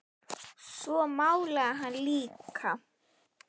Svo málaði hann líka.